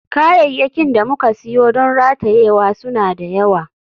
Kayayyakin da muka siyo don ratayewa suna da yawa.